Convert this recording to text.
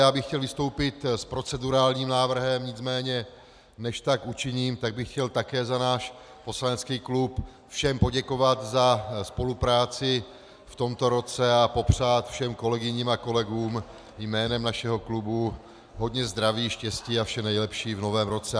Já bych chtěl vystoupit s procedurálním návrhem, nicméně než tak učiním tak bych chtěl také za náš poslanecký klub všem poděkovat za spolupráci v tomto roce a popřát všem kolegyním a kolegům jménem našeho klubu hodně zdraví, štěstí a vše nejlepší v novém roce.